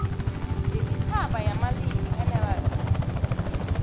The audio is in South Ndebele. yesitjhaba yamalimi nls